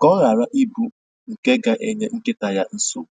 ka ọ hara ịbụ nke ga-enye nkịta ya nsogbu